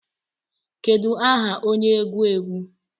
Kedu aha onye egwu egwu